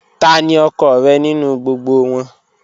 Tani ọkọ rẹ ninu gbogbo wọn?